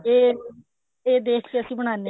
ਇਹ ਦੇਖ ਕੇ ਅਸੀਂ ਬਨਾਨੇ